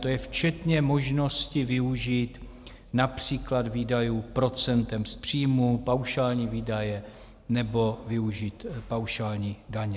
To je včetně možnosti využít například výdajů procentem z příjmů, paušální výdaje nebo využít paušální daně.